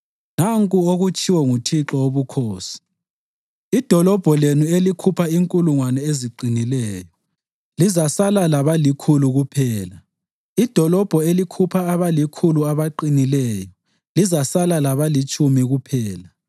Nanku okutshiwo nguThixo Wobukhosi: “Idolobho lenu elikhupha inkulungwane eziqinileyo lizasala labalikhulu kuphela; idolobho elikhupha abalikhulu abaqinileyo lizasala labalitshumi kuphela.”